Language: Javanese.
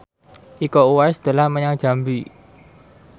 Iko Uwais dolan menyang Jambi